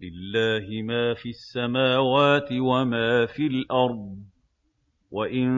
لِّلَّهِ مَا فِي السَّمَاوَاتِ وَمَا فِي الْأَرْضِ ۗ وَإِن